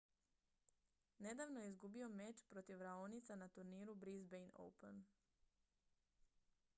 nedavno je izgubio meč protiv raonica na turniru brisbane open